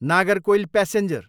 Nagercoil passenger